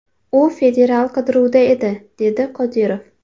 U federal qidiruvda edi”, dedi Qodirov.